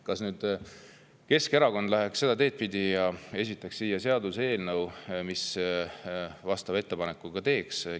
Kas Keskerakond läheks seda teed pidi, et esitaks seaduseelnõu, mis vastava ettepaneku teeks?